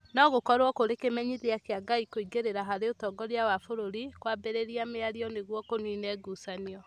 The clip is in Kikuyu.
no gũkorũo kũrĩ kĩmenyithia kĩa Ngai kũingĩrĩra harĩ ũtongoria wa bũrũri, kwambĩrĩria mĩario nĩguo kũniine ngucanio.